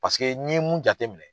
Paseke n ye mun jate minɛ,